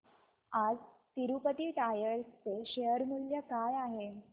आज तिरूपती टायर्स चे शेअर मूल्य काय आहे